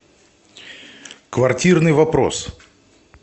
квартирный вопрос